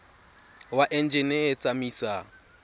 wa enjine e e tsamaisang